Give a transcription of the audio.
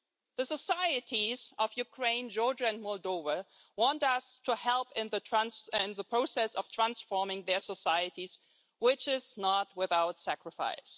The societies of Ukraine, Georgia and Moldova want us to help in the process of transforming their societies, which is not without sacrifice.